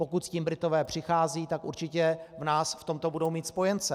Pokud s tím Britové přicházejí, tak určitě v nás v tomto budou mít spojence.